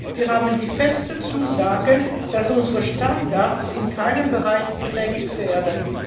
Wir haben die feste Zusage, dass unsere Standards in keinem Bereich gesenkt werden.